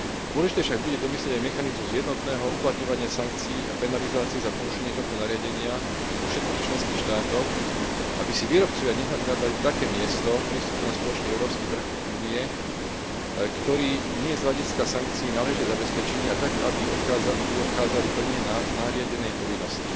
Dôležité však bude domyslieť aj mechanizmus jednotného uplatňovania sankcií a penalizácií za porušenie tohto nariadenia u všetkých členských štátoch, aby si výrobcovia nehľadali také miesto prístupu na spoločný európsky trh Únie, ktorý nie je z hľadiska sankcií náležite zabezpečený, a tak, aby obchádzali plnenie nariadenej povinnosti.